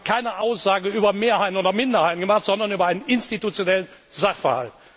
Ich habe keine Aussage über Mehrheiten oder Minderheiten gemacht, sondern über einen institutionellen Sachverhalt.